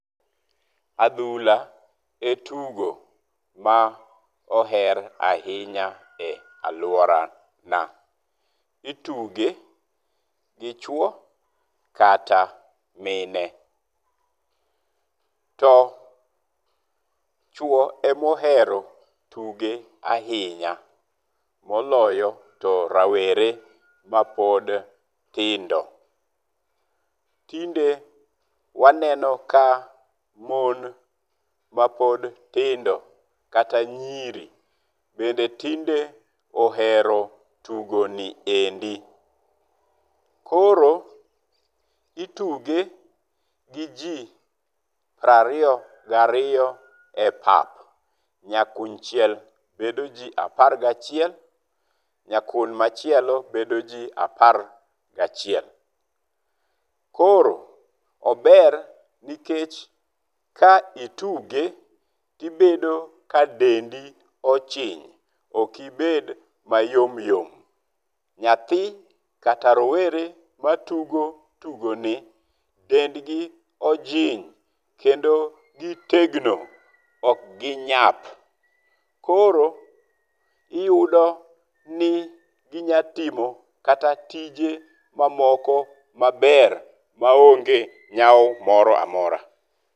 Adhula e tugo ma oher ahinya e aluora na. Ituge gi chuo kata mine. To chuo emohero tuge ahinya. Moloyo to rawere ma pod tindo. Tinde waneno ka mon mapod tindo kata nyiri bende tinde ohero tugoni endi. Koro ituge go ji piero ariyo gi ariyo [22] e pap. Nya kunchiel bedo ji apar gi achiel[11]. Nyakun machielo bedo ji apar gi achiel[11]. Koro ober nikech ka ituge tibedo ka dendi ochiny ok ibed mayomyom. Nyathi kata rowere matugo tugo ni dendgi ojiny kendo gitegno. Ok ginyap. Koro iyudo ni ginyatimo kata tije mamoko maber maonge nyawo moro amora.